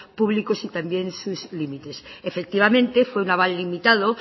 públicos y también sus límites efectivamente fue un aval limitado